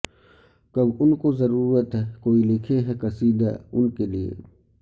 کب انکو ضرورت ہے کوئی لکھے ہے قصیدہ انکے لیئے